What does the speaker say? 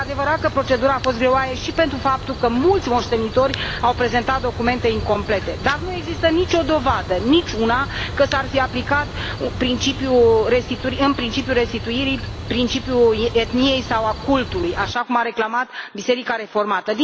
Este adevărat că procedura a fost greoaie și pentru faptul că mulți moștenitori au prezentat documente incomplete, dar nu există nicio dovadă, niciuna, că s ar fi aplicat în procesul restituirii principiul etniei sau al cultului, așa cum a reclamat Biserica Reformată.